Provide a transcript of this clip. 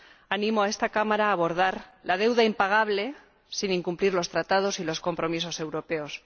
Animo a esta Cámara a abordar la deuda impagable sin incumplir los Tratados y los compromisos europeos.